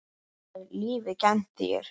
Hvað hefur lífið kennt þér?